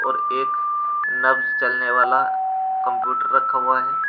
और एक नब्ज चलने वाला कंप्यूटर रखा हुआ है।